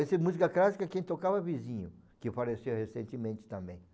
Essa música clássica quem tocava era o vizinho, que faleceu recentemente também.